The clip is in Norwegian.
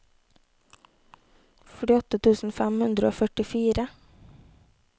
førtiåtte tusen fem hundre og førtifire